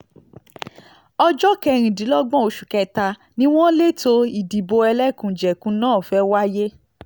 ọjọ́ kẹrìndínlọ́gbọ̀n oṣù kẹta ni wọ́n lẹ̀tọ́ ìdìbò ẹlẹ́kùnjẹkùn náà fẹ́ẹ́ wáyé